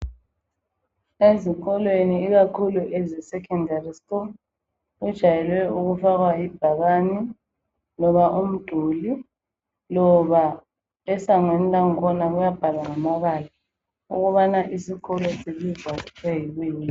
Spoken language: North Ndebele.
Ezikolweni ikakhulu ezesekhondari kujayele ukufakwa ibhakane loba umduli. Esangweni lakhona kuyabhalwa ukuthi isikolo sibizwa kuthiwa yini.